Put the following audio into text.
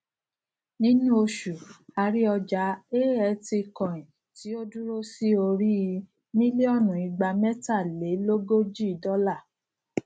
nínú oṣù a rí ọjà altcoin tí ó dúró sí orí í mílíònù igbamẹtalélógójì dọlà